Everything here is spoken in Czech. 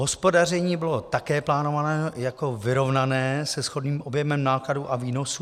Hospodaření bylo také plánováno jako vyrovnané se shodným objemem nákladů a výnosů.